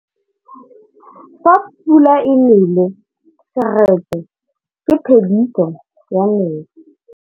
Fa pula e nelê serêtsê ke phêdisô ya metsi.